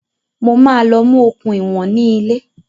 Mo máa lọ mú okùn ìwọ̀n ní ilé